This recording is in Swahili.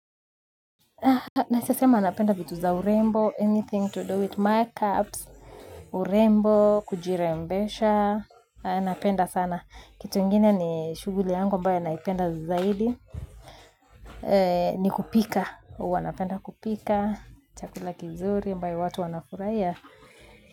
Naesa sema napenda vitu za urembo, anything to do with my cups urembo, kujirembesha anapenda sana, kitu ingine ni shuguli yangu ambayo naipenda zaidi ni kupika, huwa napenda kupika chakula kizuri ambayo watu wanafuraia.